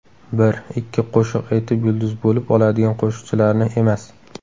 Bir, ikki qo‘shiq aytib yulduz bo‘lib oladigan qo‘shiqchilarni emas.